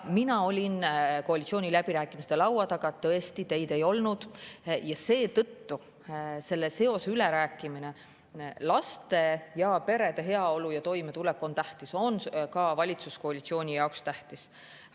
Mina olin koalitsiooniläbirääkimiste laua taga – tõesti, teid ei olnud – ja seetõttu tuleb see üle rääkida: laste ja perede heaolu ja toimetulek on tähtis, see on ka valitsuskoalitsiooni jaoks tähtis.